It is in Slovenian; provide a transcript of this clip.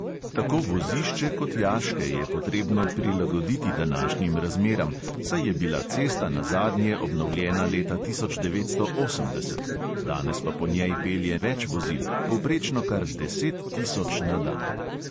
Tako vozišče kot jaške je potrebno prilagoditi današnjim razmeram, saj je bila cesta nazadnje obnovljena leta tisoč devetsto osemdeset, danes pa po njej pelje več vozil, povprečno kar deset tisoč na dan.